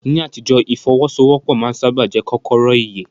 Ní àtijọ́, ìfọ́wọ́sọwọ́pọ̀ máa ń sáábà jẹ́ kọ́kọ́rọ́ ìyè.